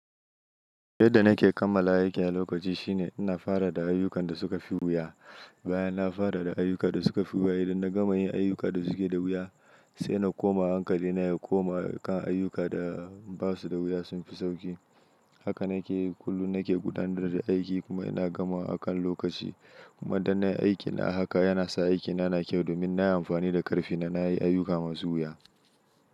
Yadda nake kammala aikin a lokaci shine ina fara da ayyukan da suka fi wuya. Bayan na fara da ayyukan da suka fi wuya idan na gama yin ayyukan da suke da wuya sai na koma hankali na ya koma kan ayyuka da basu da wuya sun fi sauki. Haka nake kullum nake gudanar da aiki kuma ina gamuawa akan lokaci. Kuma da nayi aikina haka yana sa aikina na kyau domin na yi amfani da karfina na yi ayyuka masu wuya.